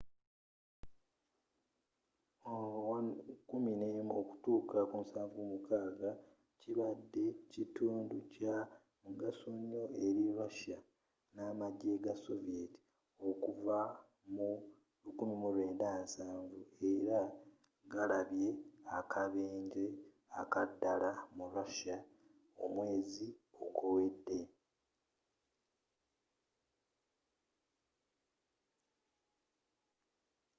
il-76 kibadde kitundu kya mugaso nyo eri russia n'amagye ga soviet okuva mu 1970 era gali galabye akabenje akaddala mu russia omwezi oguwedde